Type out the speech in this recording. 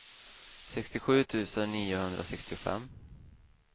sextiosju tusen niohundrasextiofem